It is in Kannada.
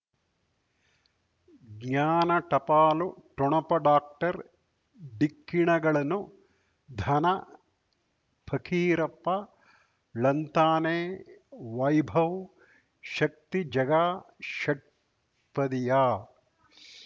ಜ್ಞಾನ ಟಪಾಲು ಠೊಣಪ ಡಾಕ್ಟರ್ ಢಿಕ್ಕಿ ಣಗಳನು ಧನ ಫಕೀರಪ್ಪ ಳಂತಾನೆ ವೈಭವ್ ಶಕ್ತಿ ಝಗಾ ಷಟ್ಪದಿಯ